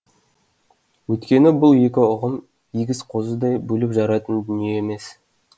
өйткені бұл екі ұғым егіз қозыдай бөліп жаратын дүние емес